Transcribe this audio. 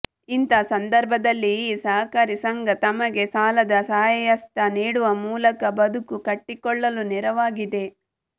ಇಂಥ ಸಂದರ್ಭದಲ್ಲಿ ಈ ಸಹಕಾರಿ ಸಂಘ ತಮಗೆ ಸಾಲದ ಸಹಾಯಹಸ್ತ ನೀಡುವ ಮೂಲಕ ಬದುಕು ಕಟ್ಟಿಕೊಳ್ಳಲು ನೆರವಾಗಿದೆ